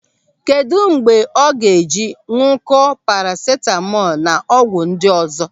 Kedụ mgbe ọ ga-eji añụkọ parasitamọl na ọgwụ ndị ọzọ.